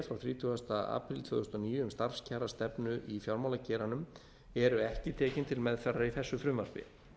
frá þrítugasta apríl tvö þúsund og níu um starfskjarastefnu í fjármálageiranum eru ekki tekin til meðferðar í þessu frumvarpi